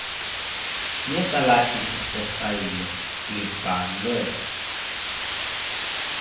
yesalathisi sefayile libhalwe